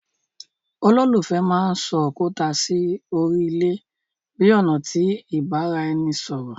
Ololufẹ mán sọ òkúta sí órí ilé bi ọna ti ibaraẹnisọrọ